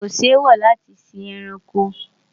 kò sí èwo láti sí ẹranko